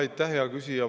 Aitäh, hea küsija!